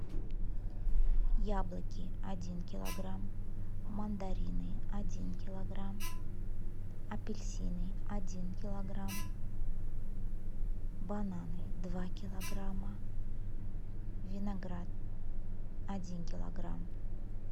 яблоки один килограмм мандарины один килограмм апельсины один килограмм бананы два килограмма виноград один килограмм